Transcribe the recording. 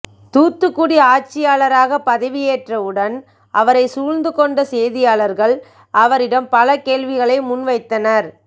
தூத்துக்குடி ஆட்சியாளராக பதவியேற்ற உடன் அவரை சூழ்ந்துக் கொண்ட செய்தியாளர்கள் அவரிடம் பல கேள்விகளை முன் வைத்தனர்